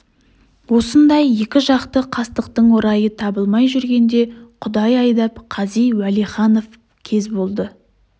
осындай екі жақты қастықтың орайы табылмай жүргенде құдай айдап қази уәлиханов кез болды